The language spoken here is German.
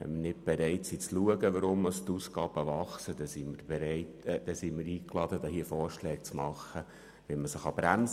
Wenn wir nicht bereit sind hinzuschauen, weshalb die Ausgaben wachsen, sind wir eingeladen dazu, hier Vorschläge zu unterbreiten, wie man das bremsen kann.